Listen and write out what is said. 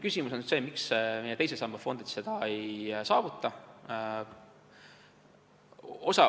Küsimus on see, et miks meie teise samba fondid seda ei saavuta.